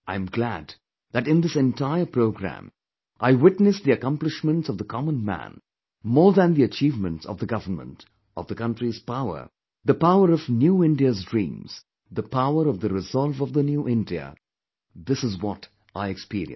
I am glad that in this entire programme I witnessed the accomplishments of the common man more than the achievements of the government, of the country's power, the power of New India's dreams, the power of the resolve of the new India this is what I experienced